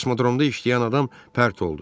Kosmodromda işləyən adam pərt oldu.